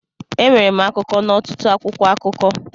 Enwere m akụkọ n'ọtụtụ akwụkwọ akụkọ.